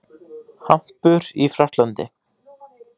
Hampur í Frakklandi.